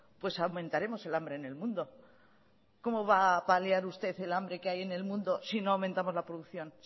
pues aumentaremos el hambre en el mundo cómo va a paliar usted el hambre que hay en el mundo si no aumentamos la producción